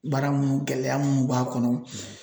Baara munnu gɛlɛya mun b'a kɔnɔ.